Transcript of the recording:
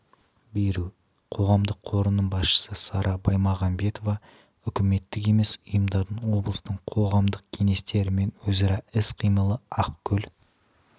беру қоғамдық қорының басшысы сара баймағанбетова үкіметтік емес ұйымдардың облыстың қоғамдық кеңестерімен өзара іс-қимылы ақкөл